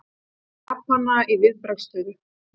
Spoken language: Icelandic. Japanar í viðbragðsstöðu